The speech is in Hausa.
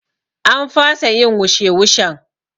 An fasa yin wushe wushen